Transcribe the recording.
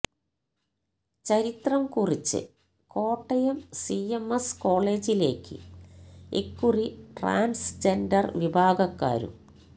ചരിത്രം കുറിച്ച് കോട്ടയം സിഎംഎസ് കോളേജിലേക്ക് ഇക്കുറി ട്രാന്സ്ജെന്ഡര് വിഭാഗക്കാരും